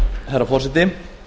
herra forseti